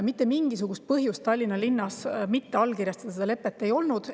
Mitte mingisugust põhjust Tallinna linnas seda lepet mitte allkirjastada ei olnud.